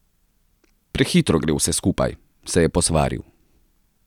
Prehitro gre vse skupaj, se je posvaril.